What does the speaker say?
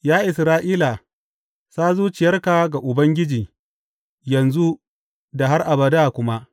Ya Isra’ila, sa zuciyarka ga Ubangiji yanzu da har abada kuma.